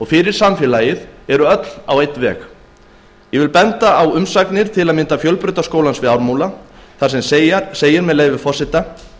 fyrir samfélagið eru allar á einn veg ég vil til að mynda benda á umsögn fjölbrautaskólans við ármúla þar sem segir með leyfi forseta